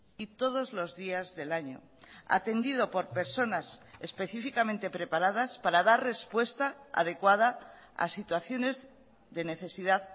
y todos los días del año atendido por personas específicamente preparadas para dar respuesta adecuada a situaciones de necesidad